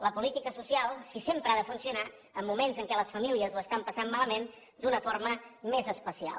la política social si sempre ha de funcionar en moments en què les famílies ho estan passant malament d’una forma més especial